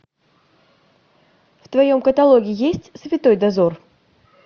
в твоем каталоге есть святой дозор